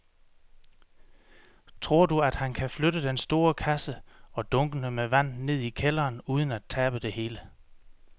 Tror du, at han kan flytte den store kasse og dunkene med vand ned i kælderen uden at tabe det hele?